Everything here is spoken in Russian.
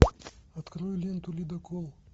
открой ленту ледокол